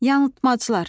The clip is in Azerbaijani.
Yanılmaclar.